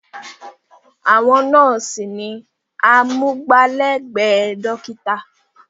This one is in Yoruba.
Àwọn nọ́ọ̀sí ni amúgbálẹ́gbẹ̀ẹ́ dọ́kítà.